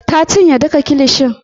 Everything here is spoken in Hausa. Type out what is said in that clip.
Ta cinye duka kilishin.